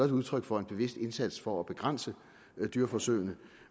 det udtryk for en bevidst indsats for at begrænse dyreforsøgene